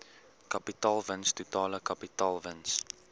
kapitaalwins totale kapitaalwins